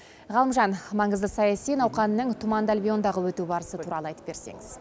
ғалымжан маңызды саяси науқанның туманды альбиондағы өту барысы туралы айтып берсеңіз